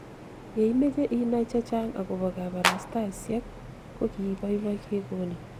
ye imeche inai che Chang akobo kabarastasiek ko ki boiboi kekonin